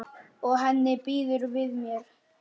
Og henni býður við mér.